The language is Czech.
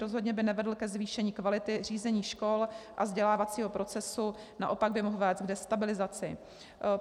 Rozhodně by nevedl ke zvýšení kvality řízení škol a vzdělávacího procesu, naopak by mohl vést k destabilizaci.